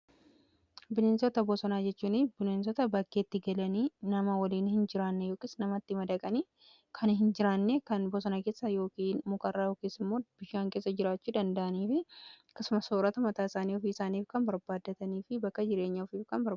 Bineensota bosonaa jechuun bineensota bakkeetti galanii nama waliin hin jiraanne yookiis namatti madaqanii kan hin jiraanne kan bosonaa keessa yookiin mukarraa yookis immoo bishaan keessa jiraachuu danda'anii fi akkasumas soorata mataa isaanii ofii isaaniif kan barbaaddatanii fi bakka jireenyaa ofi kan beekanidha.